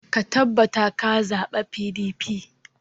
Ka tabbata ka zaɓa PDP!